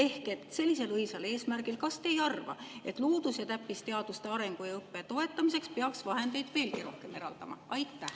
Kas te ei arva, et sellisel õilsal eesmärgil peaks loodus- ja täppisteaduste arengu ja õppe toetamiseks vahendeid veelgi rohkem eraldama?